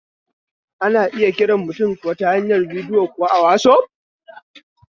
Ana iya kiran mutum ta hanyar bidiyo kuwa a wasaf